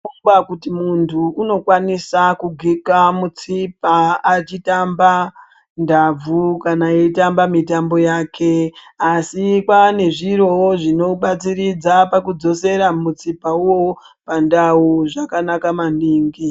Kungwa kuti muntu unokwanisa kugeka mutsipa achitamba ndabvu kana eitamba mitambo yake. Asi kwaane zvirovo zvinobatsiridza pakudzosera mutsipa ivovo pandau zvakanaka maningi.